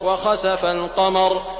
وَخَسَفَ الْقَمَرُ